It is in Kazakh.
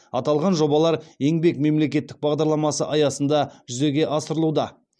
аталған жобалар еңбек мемлекеттік бағдарламасы аясында жүзеге асырылуда